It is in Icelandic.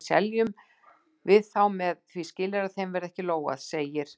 Og svo seljum við þá með því skilyrði að þeim verði ekki lógað, segir